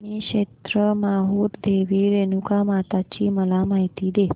श्री क्षेत्र माहूर देवी रेणुकामाता ची मला माहिती दे